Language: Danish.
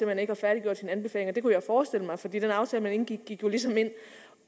man ikke har færdiggjort sine anbefalinger det kunne jeg forestille mig for den aftale man indgik gik jo ligesom ind